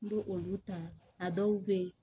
N b'o olu ta a dɔw be ye